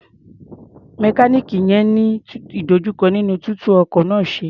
Mẹkáníìnì yẹn ń ní ìdojúkọ nínú títú ọkọ̀ náà ṣe.